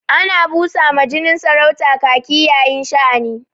Ana busa ma jinin saurata kaki yayin sha'ani.